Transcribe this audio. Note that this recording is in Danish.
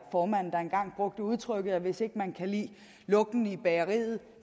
formanden der engang brugte udtrykket at hvis ikke man kan lide lugten i bageriet